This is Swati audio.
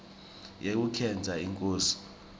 yekukhetsa inkosi